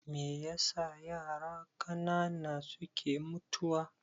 Meyasa yara ƙanana suke mutuwa?